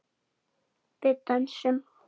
Við dönsum.